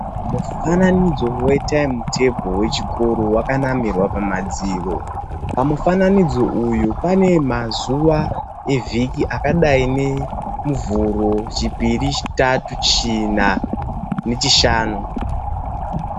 Mufananidzo we tiyimutabhoro ,wechikoro wakanamirwa pamadziro. Pamufananidzo uyo pane mazuwa evhiki akadai ne Muvhuro, Chipiri, Chitatu, China neChishanu.